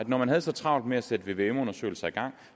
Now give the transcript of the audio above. man havde så travlt med at sætte vvm undersøgelser i gang